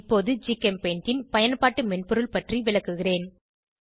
இப்போது ஜிகெம்பெயிண்டின் பயன்பாட்டு மென்பொருள் பற்றி விளக்குகிறேன்